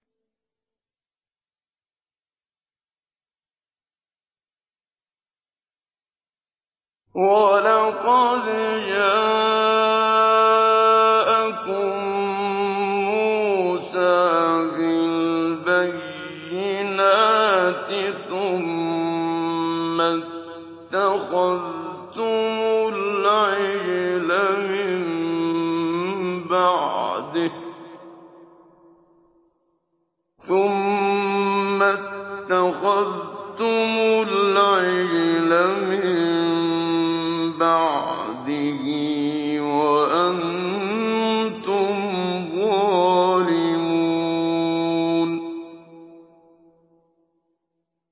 ۞ وَلَقَدْ جَاءَكُم مُّوسَىٰ بِالْبَيِّنَاتِ ثُمَّ اتَّخَذْتُمُ الْعِجْلَ مِن بَعْدِهِ وَأَنتُمْ ظَالِمُونَ